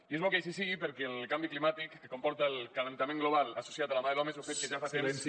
i és bo que així sigui perquè el canvi climàtic que comporta l’escalfament global associat a la mà de l’home és un fet que ja fa temps